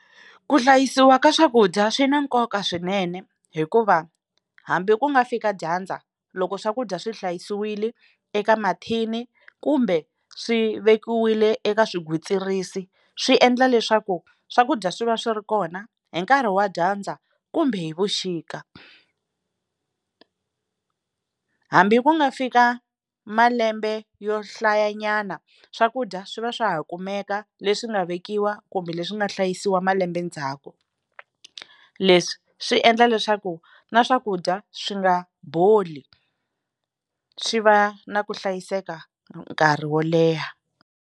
Ku hlayisiwa ka swakudya swi na nkoka swinene hikuva hambi ku nga fika dyandza loko swakudya swi hlayisiwile eka mathini kumbe swi vekiwile eka swigwitsirisi swi endla leswaku swakudya swi va swi ri kona hi nkarhi wa dyandza kumbe hi vuxika hambi ku nga fika malembe yo hlayanyana swakudya swi va swa ha kumeka leswi swi nga vekiwa kumbe leswi nga hlayisiwa malembe ndzhaku leswi swi endla leswaku na swakudya swi nga boli swi va na ku hlayiseka nkarhi wo leha.